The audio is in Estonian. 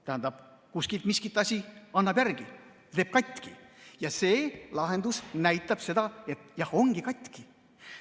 Tähendab, kuskilt miski asi annab järele, teeb katki ja see lahendus näitab seda, et jah, ongi katki.